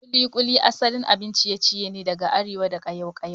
Kulikuli asalinsa abin ciye-ciye ne daga Arewa da kayaw-kayaw.